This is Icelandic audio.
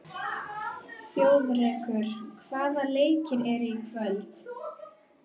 Þjóðrekur, hvaða leikir eru í kvöld?